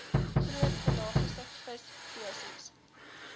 groot pelagiese visspesies